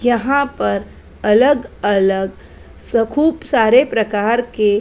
यहाँ पर अलग अलग स खूब सारे प्रकार के--